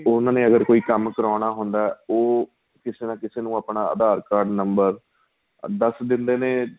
ਉਹਨਾ ਨੇ ਅਗ਼ਰ ਕੋਈ ਕੰਮ ਕਰਾਉਣਾ ਹੁੰਦਾ ਉਹ ਕਿਸੇ ਨਾ ਕਿਸੇ ਨੂੰ ਆਪਣਾ aadhar card number ਦੱਸ ਦਿੰਦੇ ਨੇ